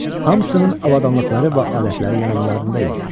Hamısının avadanlıqları və alətləri yanlarında idi.